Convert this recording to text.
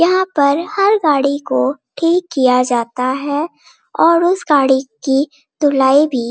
यहाँ पर हर गाड़ी को ठीक किया जाता है और उस गाड़ी की धुलाई भी |